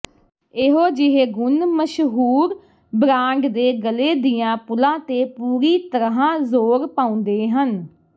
ਇਹੋ ਜਿਹੇ ਗੁਣ ਮਸ਼ਹੂਰ ਬ੍ਰਾਂਡ ਦੇ ਗਲੇ ਦੀਆਂ ਪੁਲਾਂ ਤੇ ਪੂਰੀ ਤਰ੍ਹਾਂ ਜ਼ੋਰ ਪਾਉਂਦੇ ਹਨ